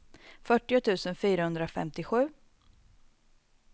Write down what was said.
fyrtio tusen fyrahundrafemtiosju